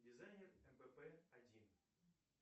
дизайнер кпп один